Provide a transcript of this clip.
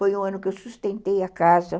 Foi um ano que eu sustentei a casa.